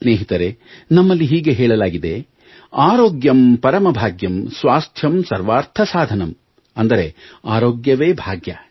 ಸ್ನೇಹಿತರೇ ನಮ್ಮಲ್ಲಿ ಹೀಗೆ ಹೇಳಲಾಗಿದೆ ಆರೋಗ್ಯಂ ಪರಮ ಭಾಗ್ಯಂ ಸ್ವಾಸ್ಥ್ಯಂ ಸರ್ವಾರ್ಥ ಸಾಧನಂ ಅಂದರೆ ಆರೋಗ್ಯವೇ ಭಾಗ್ಯ